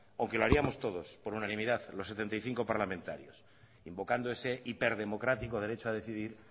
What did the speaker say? aunque lo hiciéramos todos por unanimidad los setenta y cinco parlamentarios invocando ese hiperdemocrático derecho a decidir